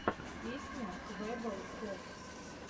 песня квеббел коп